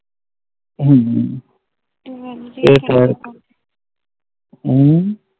ਹਮ ਹਮ